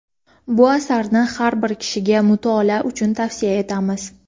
Bu asarni har bir kishiga mutolaa uchun tavsiya etamiz.